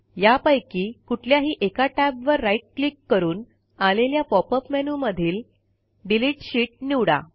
यापैकी कुठल्याही एका टॅबवर राईट क्लिक करून आलेल्या पॉपअप मेनूमधील डिलीट शीत निवडा